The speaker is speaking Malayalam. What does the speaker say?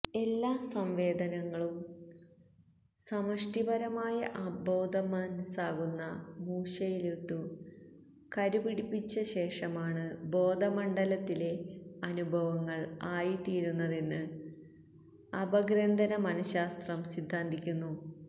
എല്ലാ സംവേദനങ്ങളും സമഷ്ടിപരമായ അബോധമനസാകുന്ന മൂശയിലിട്ടു കരുപ്പിടിച്ചശേഷമാണ് ബോധമണ്ഡലത്തിലെ അനുഭവങ്ങൾ ആയിത്തീരുന്നതെന്ന് അപഗ്രഥനമനഃശാസ്ത്രം സിദ്ധാന്തിക്കുന്നു